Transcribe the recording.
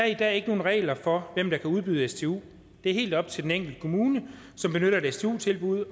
i dag ikke nogen regler for hvem der kan udbyde stu det er helt op til den enkelte kommune som benytter et stu tilbud